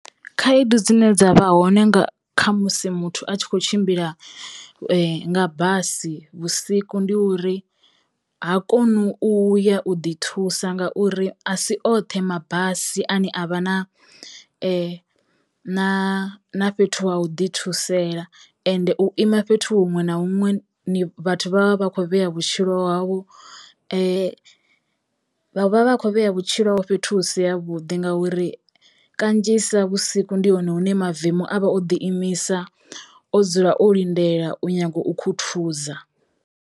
Khaedu dzine dza vha hone nga kha musi muthu a tshi kho tshimbila nga basi vhusiku ndi uri ha konu u ya u ḓi thusa nga uri a si oṱhe mabasi ane avha na na na fhethu ha u ḓi thusela ende u ima fhethu huṅwe na huṅwe ni vhathu vha vha vha kho vhea vhutshilo havho vha vha vha kho vhea vhutshilo havho fhethu husi ya vhuḓi ngauri kanzhisa vhusiku ndi hone hune mavemu avha o ḓiimisa o dzula o lindela u nyago u khuthuza.